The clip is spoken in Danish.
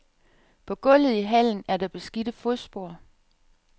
På gulvet i hallen er der beskidte fodspor.